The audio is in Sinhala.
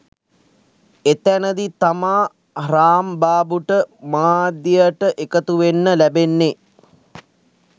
එතැනදි තමා රාම්බාබුට මාධ්‍යයට එකතුවෙන්න ලැබෙන්නෙ